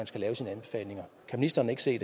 skal laves kan ministeren ikke se